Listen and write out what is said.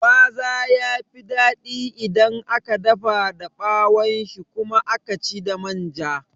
Gwaza yafi daɗi idan aka dafa da ɓawon shi kuma aka ci da manja